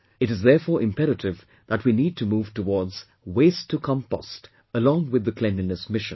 It is, therefore, imperative that we need to move towards 'Waste to Compost' along with the Cleanliness Mission